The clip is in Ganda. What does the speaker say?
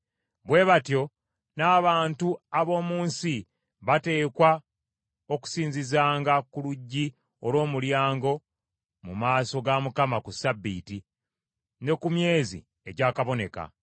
Bwe batyo n’abantu ab’omu nsi bateekwa okusinzizanga ku luggi olw’omulyango mu maaso ga Mukama ku Ssabbiiti ne ku myezi egyakaboneka.